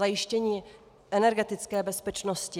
Zajištění energetické bezpečnosti.